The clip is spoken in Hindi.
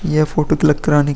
यह फोटो क्लिक कराने --